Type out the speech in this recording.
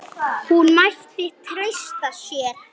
Hún mætti treysta sér.